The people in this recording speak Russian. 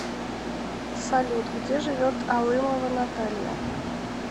салют где живет алымова наталья